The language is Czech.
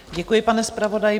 Děkuji, pane zpravodaji.